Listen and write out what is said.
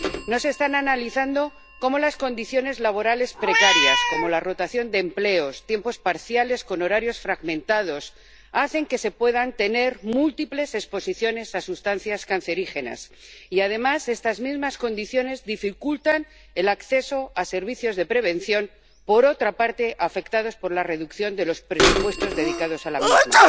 No se están analizando cómo las condiciones laborales precarias —como la rotación de empleos, tiempos parciales con horarios fragmentados— hacen que se puedan tener múltiples exposiciones a sustancias cancerígenas y, además, estas mismas condiciones dificultan el acceso a servicios de prevención, por otra parte afectados por la reducción de los presupuestos dedicados a la misma.